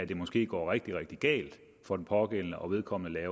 det måske går rigtig rigtig galt for den pågældende og vedkommende